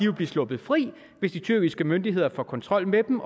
vil blive sluppet fri hvis de tyrkiske myndigheder får kontrol med dem